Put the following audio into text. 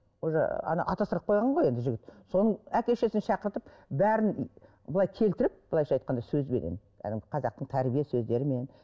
уже атастырылып қойған ғой енді жігіт соның әке шешесін шақыртып бәрін былай келтіріп былайынша айтқанда сөзбенен қазақтың тәрбие сөздерімен